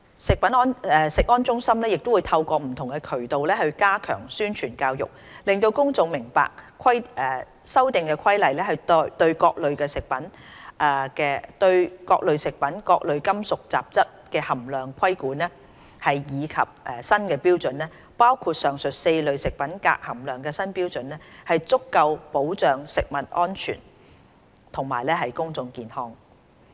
食安中心會透過不同渠道加強宣傳教育，讓公眾明白《修訂規例》對各類食品中各類金屬雜質含量的規管及新標準，包括上述4類食品鎘含量的新標準，可對食物安全及公眾健康提供足夠保障。